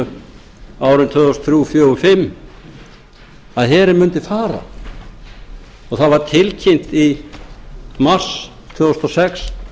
árin tvö þúsund og þrjú tvö þúsund og fjögur og tvö þúsund og fimm að herinn mundi fara og það var tilkynnt í mars tvö þúsund og sex